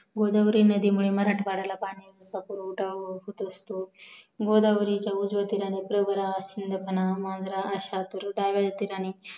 गोदावरी नदीमुळे मराठवाड्याला पाणी पुरवठा होत असतो गोदावरीच्या उजव्या तिरणे प्रवारा चिंदकणा मांजरा अशी